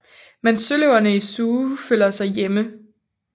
Men søløverne i Zoo føler sig hjemme